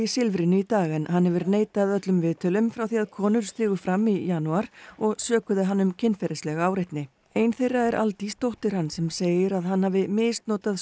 Silfrinu í dag en hann hefur neitað öllum viðtölum frá því að konur stigu fram í janúar og sökuðu hann um kynferðislega áreitni ein þeirra er Aldís dóttir hans sem segir að hann hafi misnotað